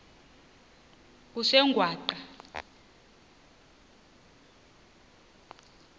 kusengwaqa